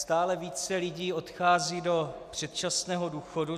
Stále více lidí odchází do předčasného důchodu.